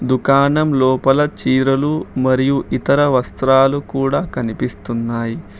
దుకాణం లోపల చీరలు మరియు ఇతర వస్త్రాలు కూడా కనిపిస్తున్నాయి.